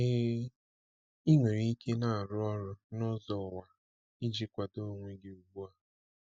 Ee, ị nwere ike na-arụ ọrụ n’ụzọ ụwa iji kwado onwe gị ugbu a.